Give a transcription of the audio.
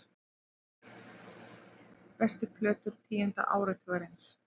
Bestu plötur tíunda áratugarins